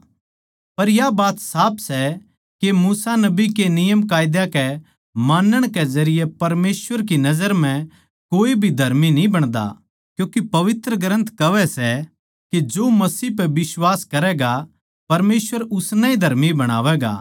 पर या बात साफ सै के मूसा नबी के नियमकायदा कै मानण के जरिये परमेसवर की नजर म्ह कोऐ भी धर्मी न्ही बणदा क्यूँके पवित्र ग्रन्थ कहवै सै के जो मसीह पै बिश्वास करैगा परमेसवर उसनै ए धर्मी बणावैगा